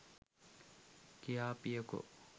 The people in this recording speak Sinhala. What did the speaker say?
කියාපියකො?